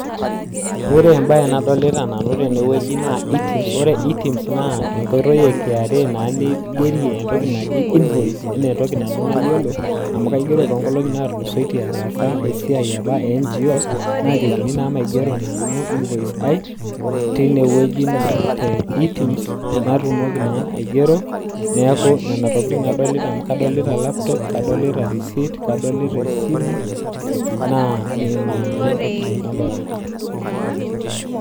ore ena baye naa enkotoi e KRA ingerie invoice ino amuu ataasa tonkilongi naatulusoite naajokini ingero invoice ino amuu kadolita esimu nadoolta laptop neeku ina siai naloito dukuya tene